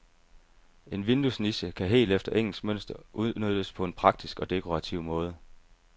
En vinduesniche kan helt efter engelsk mønster udnyttes på en praktisk og dekorativ måde.